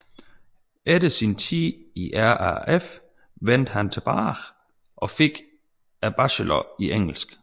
Efter sin tid i RAF vendte han tilbage go fik en bachelor i engelsk